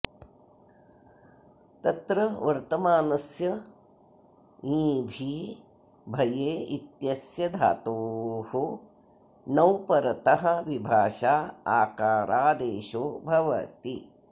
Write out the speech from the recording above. तत्र वर्तमानस्य ञिभी भये इत्यस्य धातोः णौ परतः विभाषा आकारादेशो भवति